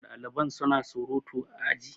daliban suna surutu a aji